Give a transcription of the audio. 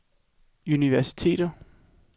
universiteter